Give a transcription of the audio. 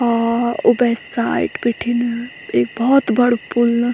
और ऊबे साइड बीटीन एक बहौत बडू पुल।